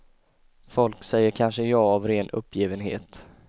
Folk säger kanske ja av ren uppgivenhet.